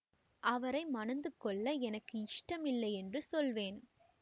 அவரை மணந்துகொள்ள எனக்கு இஷ்டம் இல்லை என்று சொல்வேன்